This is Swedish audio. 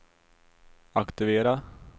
aktivera